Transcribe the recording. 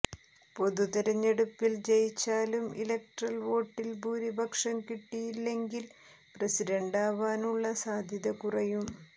പൊതു തെരഞ്ഞെടുപ്പിൽ ജയിച്ചാലും ഇലക്ടറൽ വോട്ടിൽ ഭൂരിപക്ഷം കിട്ടിയില്ലെങ്കിൽ പ്രസിഡന്റാവാനുള്ള സാധ്യത കുറയും